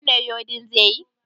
Wannan rodin zaiyi?